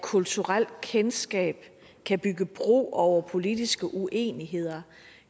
kulturelt kendskab kan bygge bro over politiske uenigheder